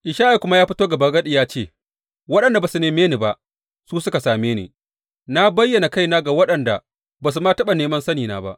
Ishaya kuma ya fito gabagadi ya ce, Waɗanda ba su neme ni ba, su suka same ni; Na bayyana kaina ga waɗanda ba su ma taɓa neman sanina ba.